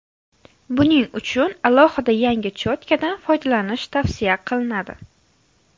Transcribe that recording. Buning uchun alohida yangi cho‘tkadan foydalanish tavsiya qilinadi.